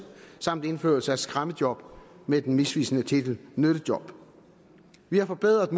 samt indførelse af skræmmejob med den misvisende titel nyttejob vi har forbedret